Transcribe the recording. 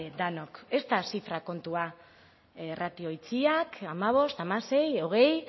denok ez da zifra kontua ratio itxiak hamabost hamasei hogei